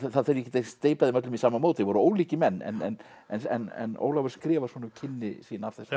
það þarf ekkert að steypa þeim öllum í sama mót þeir voru ólíkir menn en en Ólafur skrifar svona um kynni sín af þessum